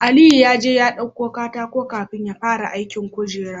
Aliyu yaje ya ɗauko katako kafin yafara aikin kujerar